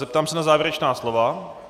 Zeptám se na závěrečná slova.